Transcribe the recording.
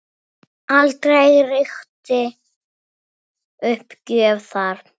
Aldrei ríkti uppgjöf þar.